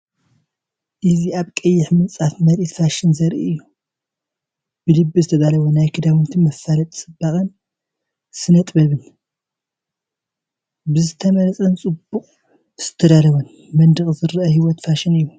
እዚ ኣብ ቀይሕ ምንጻፍ ምርኢት ፋሽን ዘርኢ እዩ። ብልቢ ዝተዳለወ ናይ ክዳውንቲ መፋለጢ ጽባቐን ስነጥበብን። ብዝተመርጸን ብጽቡቕ ዝተዳለወን መንደቕ ዝረአ ህይወት ፋሽን እዩ።